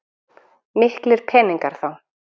Miklir peningar þá.